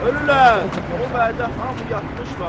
Ölürlər, o vədə hamı yatmışlar.